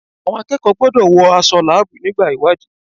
Àwọn akẹ́kọ̀ọ́ gbọ́dọ̀ wọ aṣọ láàbù nígbà ìwádìí.